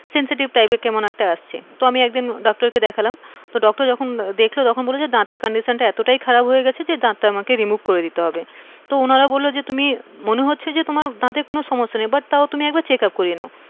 sensetive type কেমন একটা আসছে, তো আমি একদিন doctor কে দেখলাম তো doctor যখন দেখলো তখন বললো যে দাঁতের condition এতটাই খারাপ হয়ে গিয়েছে যে দাঁতটা আমাকে remove করে দিতে হবে, তো উনারা বললো যে তুমি মনে হচ্ছে যে তোমার দাঁতের কোনো সমস্যা নেই, but তও তুমি একটু checkup করিয়ে নাও,